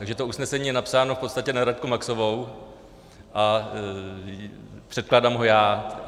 Takže to usnesení je napsáno v podstatě na Radku Maxovou a předkládám ho já.